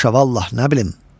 Paşa vallah nə bilim.